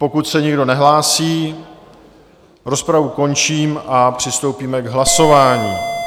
Pokud se nikdo nehlásí, rozpravu končím a přistoupíme k hlasování.